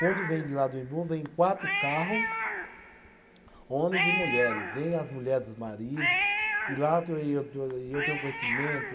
Quando vem de lá do Imbu, vem quatro carros, homens e mulheres, vem as mulheres e os maridos e lá eu e eu tenho conhecimento,